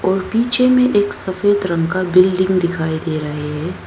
और पीछे में एक सफेद रंग का बिल्डिंग दिखाई दे रहे हैं।